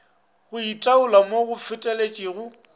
go itaola mo go feteletšego